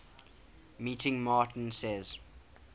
meeting martin says